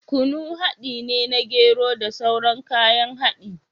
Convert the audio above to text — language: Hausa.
Kunu haɗi ne na gero da sauran kayan haɗi